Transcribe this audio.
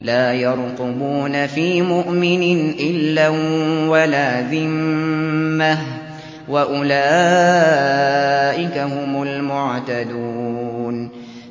لَا يَرْقُبُونَ فِي مُؤْمِنٍ إِلًّا وَلَا ذِمَّةً ۚ وَأُولَٰئِكَ هُمُ الْمُعْتَدُونَ